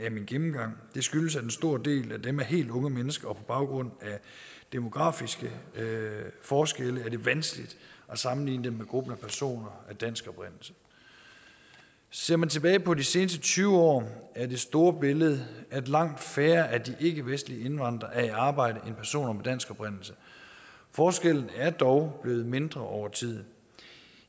af min gennemgang det skyldes at en stor del af dem er helt unge mennesker og på baggrund af demografiske forskelle er det vanskeligt at sammenligne dem med gruppen af personer af dansk oprindelse ser man tilbage på de seneste tyve år er det store billede at langt færre af de ikkevestlige indvandrere er i arbejde end personer af dansk oprindelse forskellen er dog blevet mindre over tid